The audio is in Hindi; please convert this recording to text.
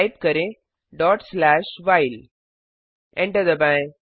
टाइप करें व्हाइल एंटर दबाएं